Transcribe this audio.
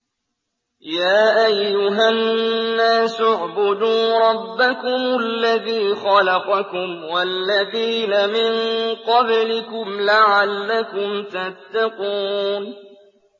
يَا أَيُّهَا النَّاسُ اعْبُدُوا رَبَّكُمُ الَّذِي خَلَقَكُمْ وَالَّذِينَ مِن قَبْلِكُمْ لَعَلَّكُمْ تَتَّقُونَ